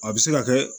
A bɛ se ka kɛ